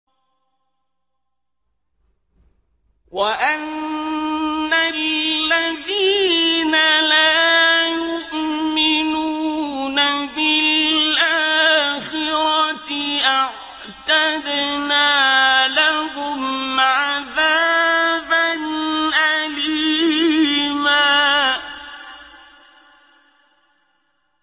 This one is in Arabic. وَأَنَّ الَّذِينَ لَا يُؤْمِنُونَ بِالْآخِرَةِ أَعْتَدْنَا لَهُمْ عَذَابًا أَلِيمًا